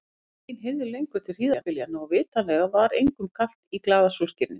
Enginn heyrði lengur til hríðarbyljanna og vitanlega var engum kalt í glaða sólskininu.